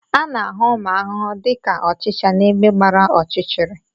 A na-ahụ ụmụ arụrụ dị ka ọchịcha n'ebe gbara ọchịchịrị